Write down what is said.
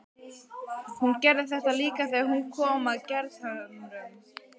Hún gerði þetta líka þegar hún kom að Gerðhömrum.